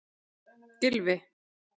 Gylfi